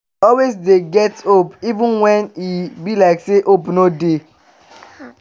always dey get hope even wen e be like say hope no dey.